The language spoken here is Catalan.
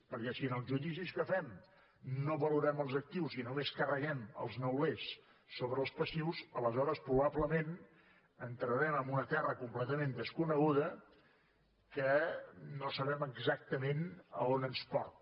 perquè si en els judicis que fem no valorem els actius i només carreguem els neulers sobre les passius aleshores probablement entrarem en una terra completament desconeguda que no sabem exactament a on ens porta